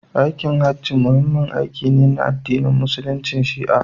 Aikin Hajji muhimmin aiki ne na addini a Musulunci Shi'a.